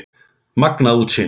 Magnað útsýni!